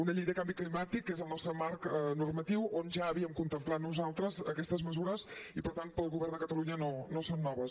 una llei de canvi climàtic que és el nostre marc normatiu on ja havíem contemplat nosaltres aquestes mesures i per tant per al govern de catalunya no són noves